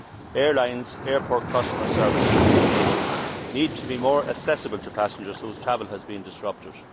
Airlines, airport customer services and information need to be more accessible to passengers whose travel has been disrupted.